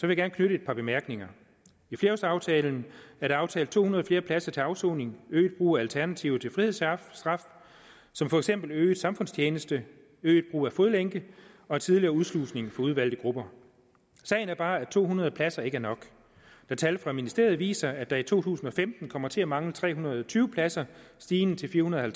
jeg gerne knytte et par bemærkninger i flerårsaftalen er der aftalt to hundrede flere pladser til afsoning øget brug af alternativer til frihedsstraf som for eksempel øget samfundstjeneste øget brug af fodlænke og tidligere udslusning af udvalgte grupper sagen er bare at to hundrede pladser ikke er nok når tal fra ministeriet viser at der to tusind og femten kommer til at mangle tre hundrede og tyve pladser stigende til fire hundrede og